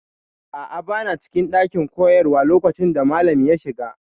A'a, bana cikin ɗakin koyarwa lokacin da malam ya shiga.